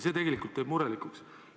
See tegelikult teeb murelikuks.